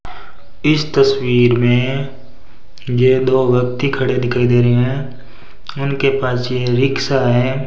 इस तस्वीर में ये दो व्यक्ति खड़े दिखाई दे रहे हैं उनके पास ये रिक्शा है।